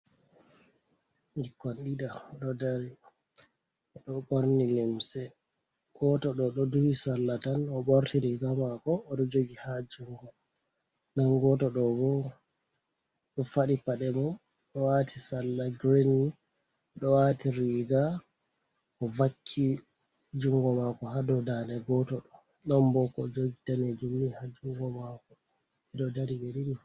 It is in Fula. Ɓikkon ɗiɗo ɗo dari, ɓe ɗo borni limse. Gooto ɗoo ɗo duhi salla tan, o ɓorti "riigaa" maako o ɗo jogi ha junngo. Nden gooto ɗoo bo ɗo faɗi paɗe mum ɗo waati salla "girin" mi ɗo waati riiga, o vakki junngo maako ha dow daande gooto ɗoo. Ɗon bo ko o jogi daneejum ha junngo maako, ɓe ɗo dari ɓe ɗiɗi fu.